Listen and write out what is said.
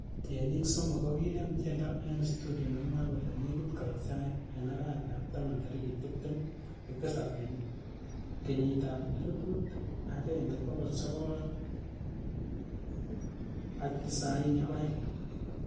Tienik somo ko kinem tiendo en studio nemoe kole 'nekit koit sait' en arawetab taman tarigit tibtem ak tisap en 1992.